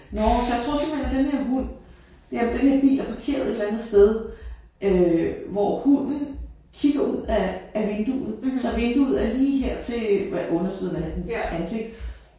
Nåh så jeg tror simpelthen at den her hund jamen den her bil er parkeret et eller andet sted øh hvor hunden kigger ud af af vinduet så vinduet er lige her til undersiden af dens ansigt